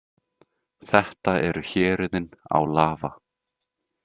Þetta eru héruðin Álava.